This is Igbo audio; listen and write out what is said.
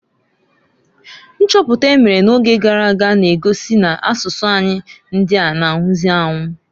Nchọpụta emere na oge garaga na-egosi n' asụsụ anyi ndịa na -anwụzị anwu.